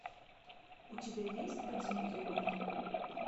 у тебя есть подземелье мертвых